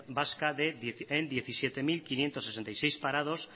vasca en diecisiete mil quinientos sesenta y seis parados